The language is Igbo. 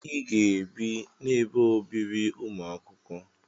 I ga-ebe n'ebe obibi ụmụ akwụkwọ!